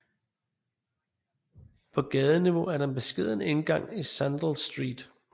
På gadeniveau er der en beskeden indgang i Sandell Street